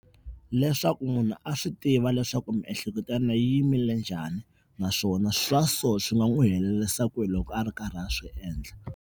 Leswaku munhu a swi tiva leswaku miehleketo ya mina yi yimile njhani naswona swa so swi nga n'wi helerisa kwini loko a ri karhi a swi endla.